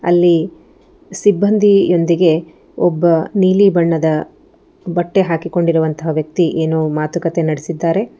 ಇಲ್ಲಿ ಸಿಬ್ಬಂದಿಯೊಂದಿಗೆ ಒಬ್ಬ ನೀಲಿ ಬಣ್ಣದ ಬಟ್ಟೆ ಹಾಕಿಕೊಂಡಿರುವಂತಹ ವ್ಯಕ್ತಿ ಏನೋ ಮಾತುಕತೆ ನಡೆಸಿದ್ದಾರೆ.